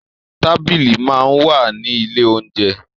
Tábìlì máa ń wà ní ilé oúnjẹ.